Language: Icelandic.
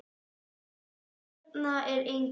Hérna er enginn.